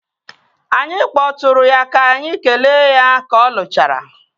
Anyị kpọtụụrụ ya ka anyị kelee ya ka ọ lụchara